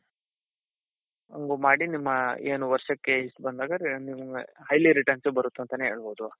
ಹಂಗೂ ಮಾಡಿ ನಿಮ್ಮ ಏನ್ ವರ್ಷಕ್ಕೆ ಇಷ್ಟ ಬಂದಾಗ revenue highly returns ಬರುತ್ತೆ ಅಂತಾನೆ ಹೇಳ್ಬಹುದು.